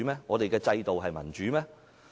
我們的制度民主嗎？